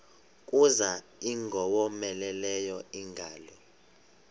kuza ingowomeleleyo ingalo